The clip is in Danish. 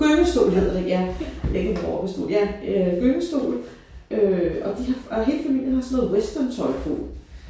Gyngestol hedder det ja ikke en rokkestol ja øh gyngestol øh og de har og hele familien har sådan noget westerntøj på